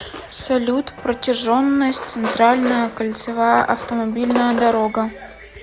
салют протяженность центральная кольцевая автомобильная дорога